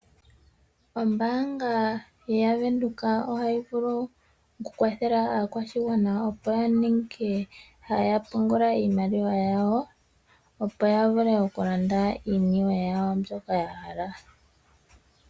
Ombaanga yaVenduka ohayi vulu oku kwathela aakwashigwana opo ya ninge haya pungula iimaliwa yawo, opo ya vule oku landa iiniwe yawo mbyoka ya hala.